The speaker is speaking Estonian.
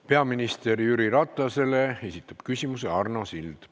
Peaminister Jüri Ratasele esitab küsimuse Arno Sild.